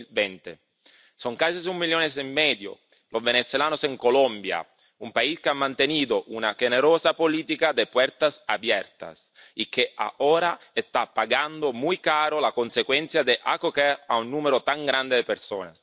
2020. Son casi un millón y medio los venezolanos en Colombia, un país que ha mantenido una generosa política de puertas abiertas y que ahora está pagando muy caras las consecuencias de acoger a un número tan grande de personas.